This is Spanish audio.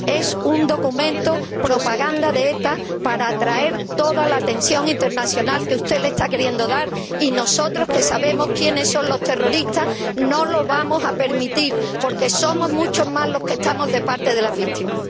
Es un documento, propaganda de ETA, para atraer toda la atención internacional que usted le está queriendo dar y nosotros, que sabemos quiénes son los terroristas, no lo vamos a permitir, porque somos muchos más los que estamos de parte de las víctimas.